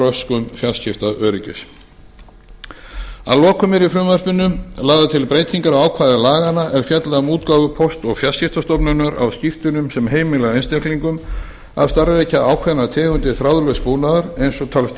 röskun fjarskiptaöryggis að lokum eru í frumvarpinu lagðar til breytingar á ákvæði laganna er fjalla um útgáfu póst og fjarskiptastofnunar á skírteinum sem heimila einstaklingum að starfrækja ákveðnar tegundir þráðlauss búnaðar eins og